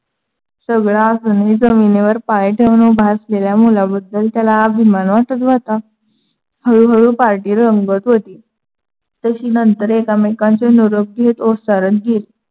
सगळं असूनही जमिनीवर पाय ठेवून उभा असलेल्या मुलाबद्दल त्याला अभिमान वाटत होता. हळूहळू party रंगत होती. तशी नंतर एकमेकांचे निरोप घेत ओसारण गीत